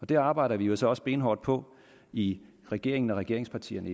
det arbejder vi jo så også benhårdt på i regeringen og regeringspartierne